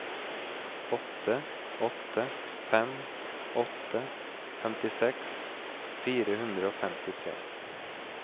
åtte åtte fem åtte femtiseks fire hundre og femtitre